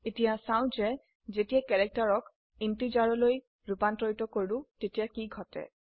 এতিয়া চাও যে যেতিয়া কেৰেক্টাৰ ক integerলৈ ৰুপান্তৰিত কৰো তেতিয়া কি ঘটে